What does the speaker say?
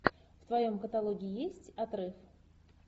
в твоем каталоге есть отрыв